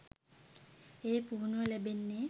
ඒ පුහුණුව ලැබෙන්නෙ.